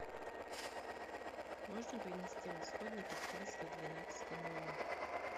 можно принести расходники в триста двенадцатый номер